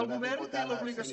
el govern té l’obligació